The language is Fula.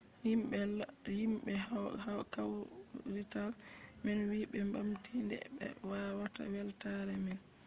himɓe kawrital man wi ɓe ɓamti nde be waɗata weltaare man